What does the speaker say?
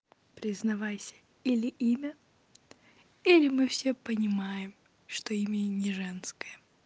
признавайся или имя или мы всё понимаем что имя и не женское